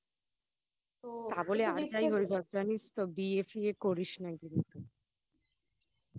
তা বলে আর যাই হয়ে যাক জানিস তো বিয়ে ফিয়ে করিস না কিন্তু